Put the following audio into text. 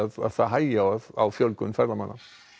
að það hægi á á fjölgun ferðamanna